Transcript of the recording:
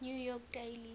new york daily